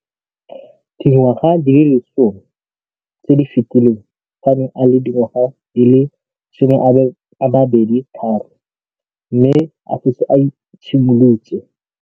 Dingwaga di le 10 tse di fetileng, fa a ne a le dingwaga di le 23 mme a setse a itshimoletse